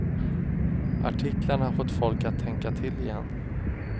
Artiklarna har fått folk att tänka till igen.